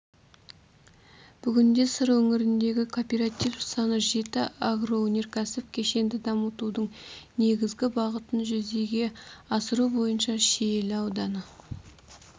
бүгінде сыр өңіріндегі кооператив саны жетті агроөнеркәсіптік кешенді дамытудың негізгі бағытын жүзеге асыру бойынша шиелі ауданы